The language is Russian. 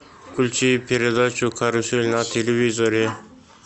включи передачу карусель на телевизоре